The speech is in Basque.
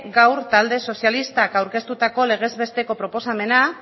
gaur talde sozialistak aurkeztutako legezbesteko proposamena